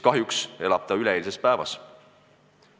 Kahjuks elab ta üleeilses päevas.